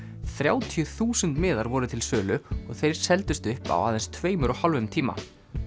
þrjátíu þúsund miðar voru til sölu og þeir seldust upp á aðeins tveimur og hálfum tíma